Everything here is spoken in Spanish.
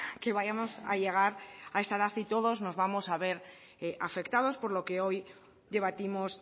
que vayamos a llegar a esa edad y todos nos vamos a ver afectados por lo que hoy debatimos